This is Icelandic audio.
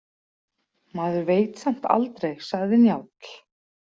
Maður veit samt aldrei, sagði Njáll.